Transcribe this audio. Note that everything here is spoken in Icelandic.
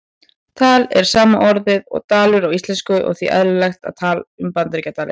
Tal er sama orðið og dalur á íslensku og því eðlilegt að tala um Bandaríkjadali.